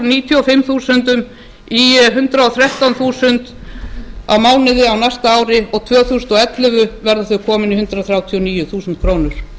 níutíu og fimm þúsundum í hundrað og þrettánda þúsund á mánuði á næsta ári og tvö þúsund og ellefu verða þau komin í hundrað þrjátíu og níu þúsund krónur